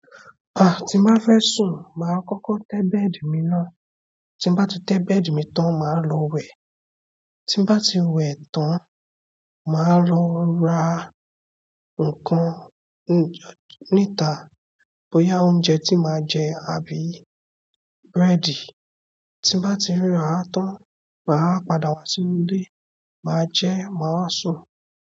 Tí n bá fẹ́ sùn, máa kọ́kọ́ tẹ́ bed mi ná. Tí n bá ti tẹ́ bed mi tán, màá lọ wẹ̀. Tí n bá ti wẹ̀ tán, màá lọ ra ǹǹkan níta bóyá oúnjẹ tí màá jẹ àbí búrẹ́dì. Tí n bá ti rà á tán, màá wá padà wá sínú ilé, màá jẹẹ́, màá wá sùn.